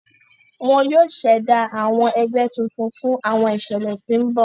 Wón yóò s'ẹda àwọn ègbé tuntun fún àwọn iṣẹlẹ tí n bọ.